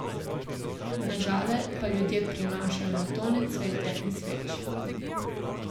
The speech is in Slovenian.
Na Žale pa ljudje prinašajo na tone cvetja in sveč.